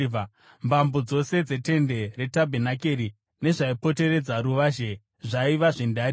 Mbambo dzose dzetende retabhenakeri nezvaipoteredza ruvazhe zvaiva zvendarira.